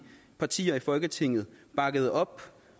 partier i folketinget bakkede op